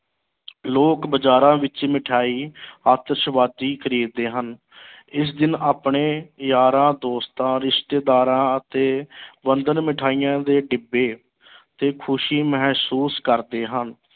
ਲੋਕ ਬਾਜ਼ਾਰਾਂ ਵਿੱਚ ਮਠਿਆਈ ਆਤਿਸ਼ਬਾਜੀ ਖਰੀਦਦੇ ਹਨ ਇਸ ਦਿਨ ਆਪਣੇ ਯਾਰਾਂ-ਦੋਸਤਾਂ, ਰਿਸ਼ਤੇਦਾਰਾਂ ਅਤੇ ਬੰਧਨ ਮਿਠਾਈਆਂ ਦੇ ਡਿੱਬੇ ਤੇ ਖੁਸ਼ੀ ਮਹਿਸੂਸ ਕਰਦੇ ਹਨ।